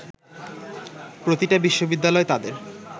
প্রতিটা বিশ্ববিদ্যালয় তাদের